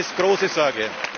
Mir macht das große Sorge.